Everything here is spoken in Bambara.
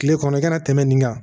Kile kɔnɔ i kana tɛmɛ nin kan